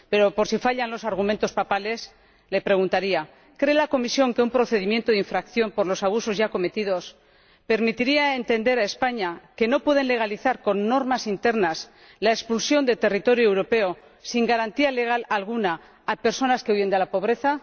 Pero, por si fallan los argumentos papales, le preguntaría ¿cree la Comisión que un procedimiento de infracción por los abusos ya cometidos permitiría a España entender que no pueden legalizar con normas internas la expulsión del territorio europeo, sin garantía legal alguna, de personas que huyen de la pobreza?